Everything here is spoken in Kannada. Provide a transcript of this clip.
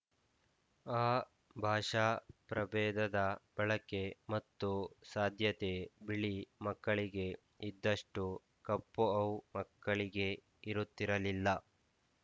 ಆ ಭಾಷಾ ಪ್ರಭೇದದ ಬಳಕೆ ಮತ್ತು ಸಾಧ್ಯತೆ ಬಿಳಿ ಮಕ್ಕಳಿಗೆ ಇದ್ದಷ್ಟು ಕಪ್ಪು ಔ ಮಕ್ಕಳಿಗೆ ಇರುತ್ತಿರಲಿಲ್ಲ